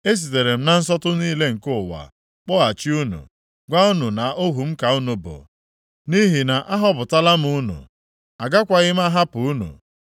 Esitere m na nsọtụ niile nke ụwa kpọghachi unu, gwa unu na ohu m ka unu bụ, nʼihi na ahọpụtala m unu, agakwaghị m ahapụ unu.